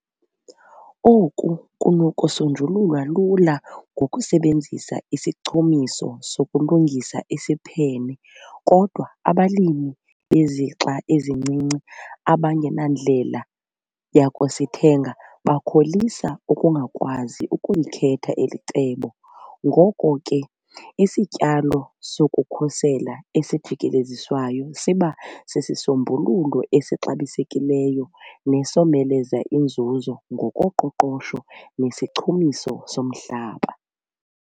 Oku kunokusonjululwa lula ngokusebenzisa isichumiso sokulungisa isiphene kodwa abalimi bezixa ezincinci abangenandlela yakusithenga bakholisa ukungakwazi ukulikhetha eli cebo ngoko ke isityalo sokukhusela esijikeleziswayo siba sisisombululo esixabisekileyo nesomeleza inzuzo ngokoqoqosho nesichumiso somhlaba.